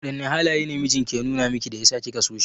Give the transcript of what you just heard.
Wadanne halaye ne mijinki ya numa miki da yasa kika so shi?